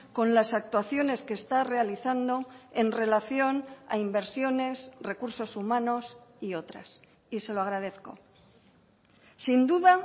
con las actuaciones que está realizando en relación a inversiones recursos humanos y otras y se lo agradezco sin duda